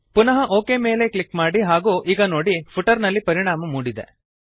ಪುನಃ OK click ಮಾಡಿ ಹಾಗೂ ಈಗ ನೋಡಿ ಫುಟರ್ ನಲ್ಲಿ ಪರಿಣಾಮ ಮೂಡಿದೆ